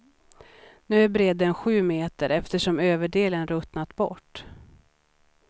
Nu är bredden sju meter eftersom överdelen ruttnat bort.